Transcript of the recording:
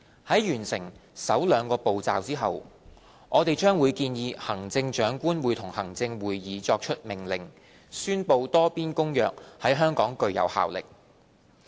在完成首兩個步驟後，我們將建議行政長官會同行政會議作出命令，宣布《多邊公約》在香港具有效力。